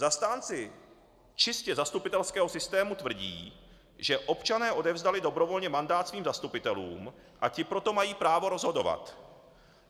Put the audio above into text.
Zastánci čistě zastupitelského systému tvrdí, že občané odevzdali dobrovolně mandát svým zastupitelům, a ti proto mají právo rozhodovat.